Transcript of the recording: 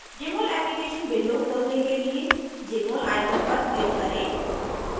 jmol application window खोलने के लिए jmol icon पर click करें